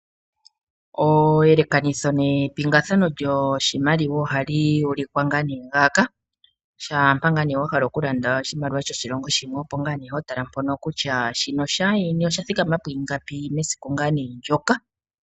Eyelekanitho nepingakanitho lyoshimaliwa ohali ulikwa naana ngaaka . Shampa wahala okulanda oshimaliwa shoshilongo sheni opo naana hotala kutya shono shaayeni osha thikama pwiingapi mesiku ndjoka.